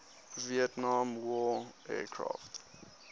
vietnam war aircraft